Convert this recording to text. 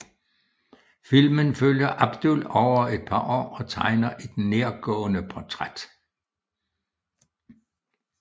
Filmen følger Abdul over et par år og tegner et nærgående portræt